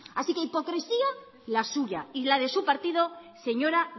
así que hipocresía la suya y la de su partido señora